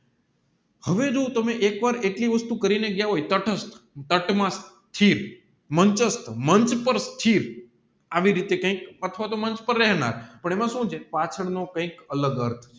હવે જો તમે એક વાર એટલી વસ્તુ કરીને ગયા હોય ટાટમસ્ત મંચસ્ત મંચ પર આવી રીતે કૈક અથવા તોહ મંચ પર રહેનાર પણ એમાં સુ છે પાંચાળ નો કૈક અલગ અર્થ